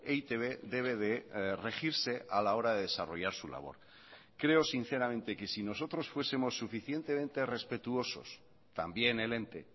e i te be debe de regirse a la hora de desarrollar su labor creo sinceramente que si nosotros fuesemos suficientemente respetuosos también el ente